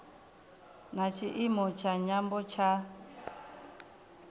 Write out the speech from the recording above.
na tshiimo tsha nyambo tsha